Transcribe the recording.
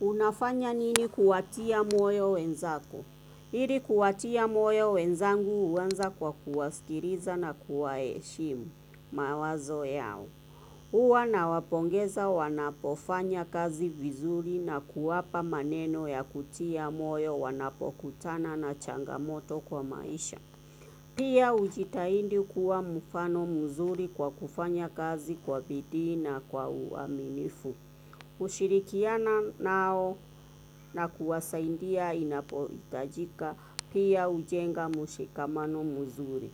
Unafanya nini kuwatia moyo wenzako? Ili kuwatia moyo wenzangu huanza kwa kuwasikiliza na kuwa heshimu. Mawazo yao. Huwa nawapongeza wanapofanya kazi vizuri na kuwapa maneno ya kutia moyo wanapokutana na changamoto kwa maisha. Pia hujitahidi kuwa mfano mzuri kwa kufanya kazi kwa bidii na kwa uaminifu. Kushirikiana nao na kuwasaidia inapo hitajika pia hujenga mshikamano mzuri.